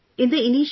Sure Sir